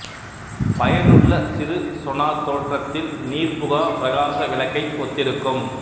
பயனுள்ள சிறு சொனார் தோற்றத்தில் நீர்புகா பிரகாச விளக்கைத் ஒத்திருக்கும்